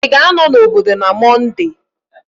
Ị ga-anọ n'obodo na Mọnde?